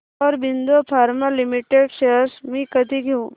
Aurobindo pharma limited shares मी कधी घेऊ